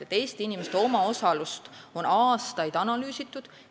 Eesti inimeste omaosalust tervishoius on aastaid analüüsitud.